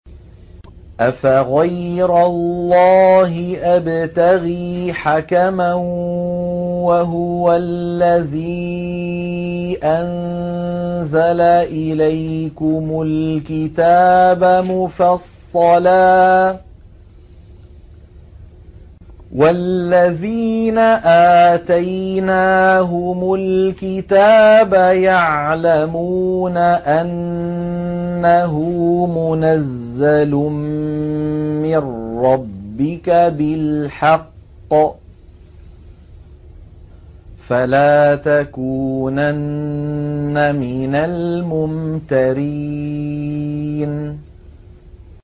أَفَغَيْرَ اللَّهِ أَبْتَغِي حَكَمًا وَهُوَ الَّذِي أَنزَلَ إِلَيْكُمُ الْكِتَابَ مُفَصَّلًا ۚ وَالَّذِينَ آتَيْنَاهُمُ الْكِتَابَ يَعْلَمُونَ أَنَّهُ مُنَزَّلٌ مِّن رَّبِّكَ بِالْحَقِّ ۖ فَلَا تَكُونَنَّ مِنَ الْمُمْتَرِينَ